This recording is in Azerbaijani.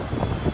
Nə istəyir?